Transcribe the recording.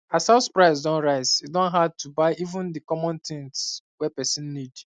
as house price don rise e don hard to buy even the common things wey person need